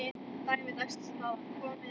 Dæmi dagsins er þaðan komið.